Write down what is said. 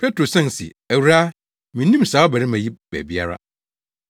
Petro san se, “Awuraa, minnim saa ɔbarima yi baabiara.”